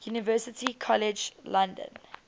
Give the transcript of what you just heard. university college london